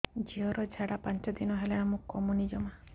ଝିଅର ଝାଡା ପାଞ୍ଚ ଦିନ ହେଲାଣି କମୁନି ଜମା